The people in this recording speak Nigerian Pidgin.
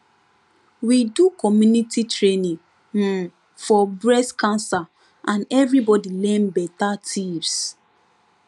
we do community training um for breast cancer and everybody learn better tips